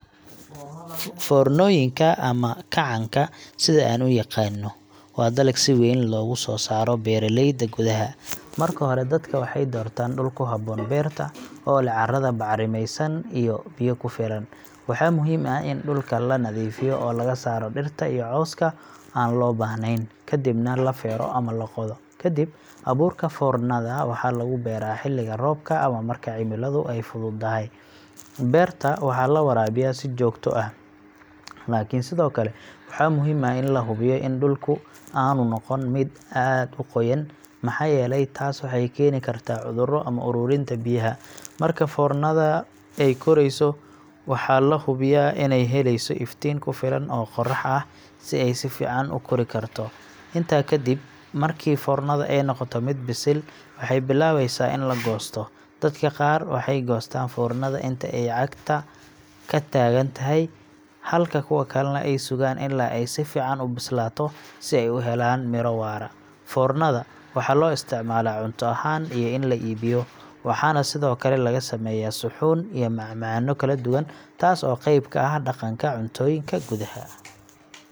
Foornooyinka ama kacanka, sida aan u yaqaanno, waa dalag si weyn loogu soo saaro beeraleyda gudaha. Marka hore, dadka waxay doortaan dhul ku habboon beerta, oo leh carrada bacrimaysan iyo biyo ku filan. Waxaa muhiim ah in dhulka la nadiifiyo oo laga saaro dhirta iyo cawska aan loo baahnayn, ka dibna la feero ama la qodo. Kadib, abuurka foornada waxaa lagu beeraa xilliga roobka ama marka cimiladu ay fududahay. Beerta waxaa la waraabiyaa si joogto ah, laakiin sidoo kale waxaa muhiim ah in la hubiyo in dhulku aanu noqon mid aad u qoyan, maxaa yeelay taas waxay keeni kartaa cuduro ama uruurinta biyaha. Marka foornada ay korayso, waxaa la hubiyaa inay helayso iftiin ku filan oo qorax ah si ay si fiican u kori karto. Intaa kadib, markii foornada ay noqoto mid bisil, waxay bilaabeysaa in la goosto. Dadka qaar waxay goostaan foornada inta ay cagta ka taagan tahay, halka kuwa kalena ay sugaan ilaa ay si fiican u bislaato, si ay u helaan miro waara. Foornada waxaa loo isticmaalaa cunto ahaan iyo in la iibiyo, waxaana sidoo kale laga sameeyaa suxuun iyo macmacaanno kala duwan, taas oo qayb ka ah dhaqanka cuntooyinka gudaha.